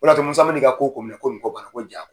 O de y'a to Musa n bɛ na i ka ko kun minɛ ko ko ja.